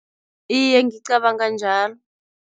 Iye, ngicabanga njalo.